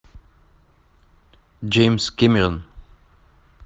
джеймс кэмерон